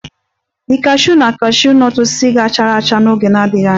The cashew na cashew nut osisi ga-chara acha n'oge na-adịghị anya